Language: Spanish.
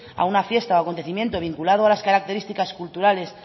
a una fiesta o acontecimiento vinculado a las características culturales